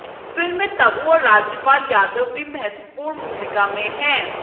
film में तब्बू और राजपाल यादव भी महत्वपूर्ण भूमिका में हैं